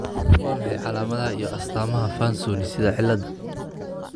Waa maxay calaamadaha iyo astaamaha Fanconi sida cilladda?